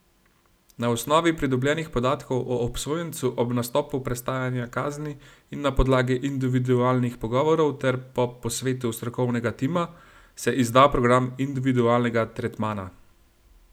Na osnovi pridobljenih podatkov o obsojencu ob nastopu prestajanja kazni in na podlagi individualnih pogovorov ter po posvetu strokovnega tima, se izda program individualnega tretmana.